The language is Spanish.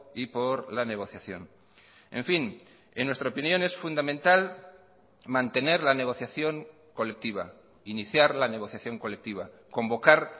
y por la negociación en fin en nuestra opinión es fundamental mantener la negociación colectiva iniciar la negociación colectiva convocar